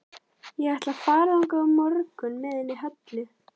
Ég ætla að fara þangað á morgun með henni Höllu.